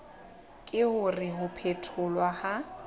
ke hore ho phetholwa ha